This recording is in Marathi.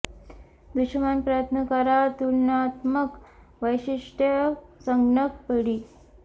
दृश्यमान प्रयत्न करा तुलनात्मक वैशिष्ट्ये संगणक पिढी